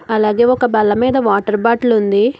అలాగే ఒక బల్ల మీద వాటర్ బాటిల్ ఉంది.